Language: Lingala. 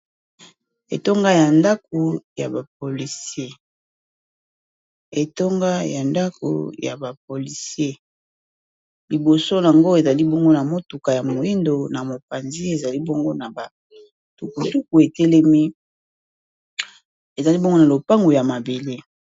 Etonga ya ndako ya ba polise liboso yango ezali bongo na motuka ya moindo na mopanzi ,ezali tukutuku etelemi ezali bongo na lopango ya mabele.